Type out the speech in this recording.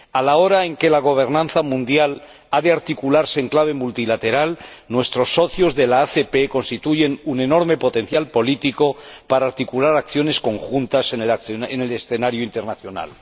A la hora en que la gobernanza mundial ha de articularse en clave multilateral, nuestros socios ACP constituyen un enorme potencial político para articular acciones conjuntas en el escenario internacional.